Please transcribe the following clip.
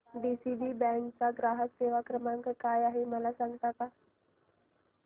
DCB bank चा ग्राहक सेवा क्रमांक काय आहे मला सांगता का